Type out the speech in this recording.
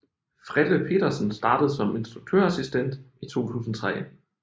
Frelle Petersen startede som instruktørassistent i 2003